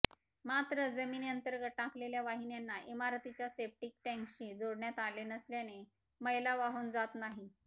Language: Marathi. मात्र जमिनीअंर्तगत टाकलेल्या वाहिन्यांना इमारतीच्या सेप्टीक टँकशी जोडण्यात आले नसल्याने मैला वाहून जात नाही